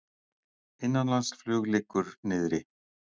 Innanlandsflug liggur niðri